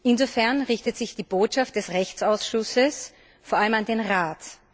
Insofern richtet sich die Botschaft des Rechtsausschusses vor allem an den Rat.